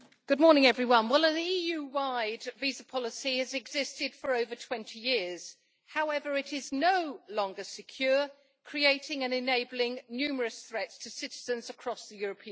Madam President, well an EU wide visa policy has existed for over 20 years. However, it is no longer secure, creating and enabling numerous threats to citizens across the European Union.